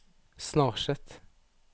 Snarset